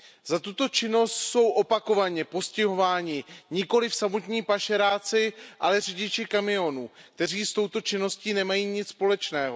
Za tuto činnost jsou opakovaně postihováni nikoliv samotní pašeráci, ale řidiči kamionů, kteří s touto činností nemají nic společného.